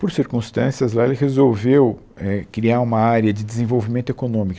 Por circunstâncias lá, ele resolveu eh criar uma área de desenvolvimento econômico.